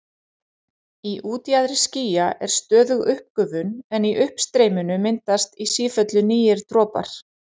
Í útjaðri skýja er stöðug uppgufun en í uppstreyminu myndast í sífellu nýir dropar.